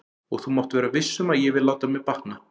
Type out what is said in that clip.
Og þú mátt vera viss um að ég vil láta mér batna.